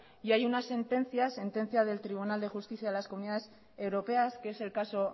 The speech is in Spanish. y hay una sentencia sentencia del tribunal de justicia de las comunidades europeas que es el caso